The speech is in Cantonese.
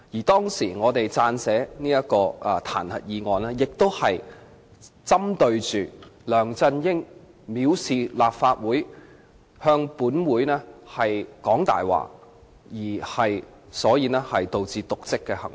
當時我們撰寫彈劾議案，亦是針對梁振英藐視立法會、向立法會說謊而導致瀆職的行為。